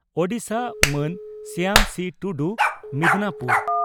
ᱳᱰᱤᱥᱟ) ᱢᱟᱱ ᱥᱭᱟᱢ ᱥᱤ ᱴᱩᱰᱩ (ᱢᱤᱫᱽᱱᱟᱯᱩᱨ